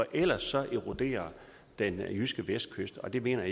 ellers eroderer den jyske vestkyst og det mener